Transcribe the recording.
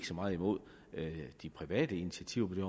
så meget imod de private initiativer på det